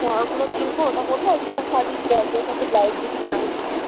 অ ওইগুলো কিনব, ওইটা পড়ব আরেকটু gorgeous একটা blouse কিছু কিনে নেব.